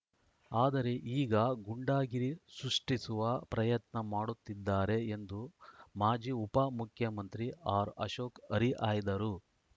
ಆದರೆ ಈಗ ಗೂಂಡಾಗಿರಿ ಸೃಷ್ಟಿಸುವ ಪ್ರಯತ್ನ ಮಾಡುತ್ತಿದ್ದಾರೆ ಎಂದು ಮಾಜಿ ಉಪಮುಖ್ಯಮಂತ್ರಿ ಆರ್‌ಅಶೋಕ್‌ ಹರಿಹಾಯ್ದರು